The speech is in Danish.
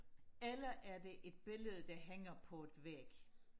eller er det et billede der hænger på et væg